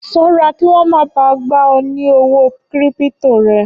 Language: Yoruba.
Ṣọ́ra kí wọ́n má ba à gba ọ ní owó kírípító ẹ!